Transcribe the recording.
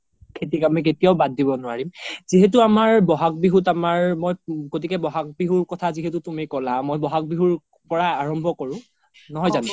খেতিক আমি কেতিয়াও বাদ দিব নোৱাৰিম যিহেতু আমাৰ বহাগ বিহুত আমাৰ মই গতিকে বহাগ বিহুৰ কথা যিহেতু তুমি ক্'লা মই বহাগ বিহুৰ পৰাই আৰাম্ভ্য কৰো নহয় যানো ?